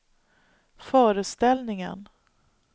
föreställningen